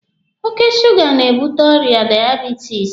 Oke suuga na-ebute ọrịa daiebitisi.